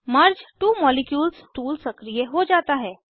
मर्ज two molecules tool सक्रिय हो जाता है